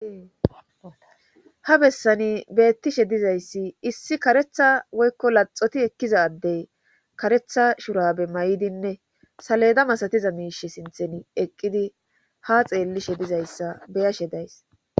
ha bessani beettishe dizayssi issi karetha woykko laxoti ekkiza adey karetha shurabe mayidinne saleda masatiza miishe sinthen eqqidi ha xeellishe dizayssa beyashe days